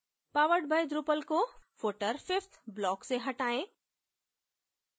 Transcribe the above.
powered by drupal को footer fifth block से हटायें